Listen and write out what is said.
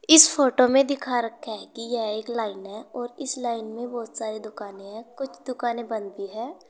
इस फोटो में दिखा रखा है कि यह एक लाइन और इस लाइन में बहुत सारे दुकानें है कुछ दुकानें बंद भी है।